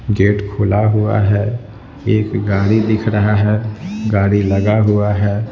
Gate खुला हुआ है एक गाड़ी दिख रहा है गाड़ी लगाहुआ है।